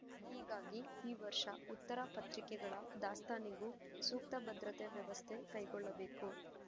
ಹೀಗಾಗಿ ಈ ವರ್ಷಉತ್ತರ ಪತ್ರಿಕೆಗಳ ದಾಸ್ತಾನಿಗೂ ಸೂಕ್ತ ಭದ್ರತೆ ವ್ಯವಸ್ಥೆ ಕೈಗೊಳ್ಳಬೇಕು